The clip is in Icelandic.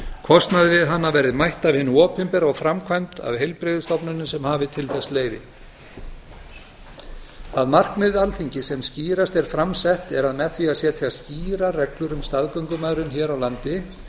kostnaði við hana verði mætt af hinu opinbera og framkvæmd af heilbrigðisstofnunum sem hafi til þess leyfi það markmið alþingis sem skýrast er fram sett er að með því að setja skýrar reglur um staðgöngumæðrun hér á landi